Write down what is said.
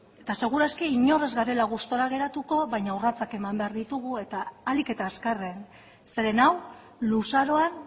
eta seguru aski inor ez garela gustura geratuko baina urratsak eman behar ditugu eta ahalik eta azkarren zeren hau luzaroan